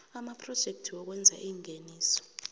amaphrojekthi wokwenza ingeniso